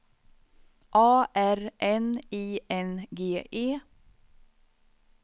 A R N I N G E